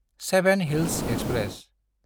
seven hills express